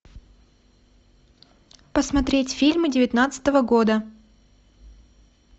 посмотреть фильмы девятнадцатого года